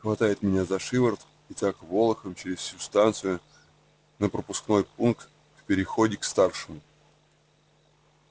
хватает меня за шиворот и так волоком через всю станцию на пропускной пункт в переходе к старшему